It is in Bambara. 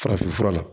Farafinfura la